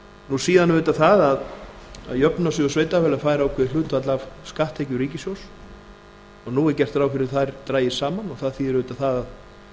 og síðan auðvitað það að jöfnunarsjóður sveitarfélaga fær ákveðið hlutfall af skatttekjum ríkissjóðs og nú er gert ráð fyrir að þær dragist saman og það þýðir auðvitað það